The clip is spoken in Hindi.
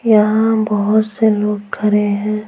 यहाँ बहुत से लोग खड़े हैं।